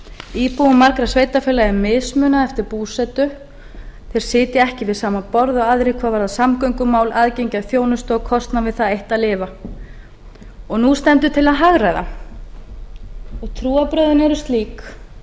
íbúum margra sveitarfélaga er mismunað eftir búsetu þeir sitja ekki við sama borð og aðrir hvað varðar samgöngumál aðgengi að þjónustu og kostnað við það eitt að lifa og nú stendur til að hagræða og trúarbrögðin eru slík